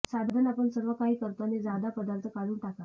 साधन आपण सर्वकाही करतो आणि जादा पदार्थ काढून टाका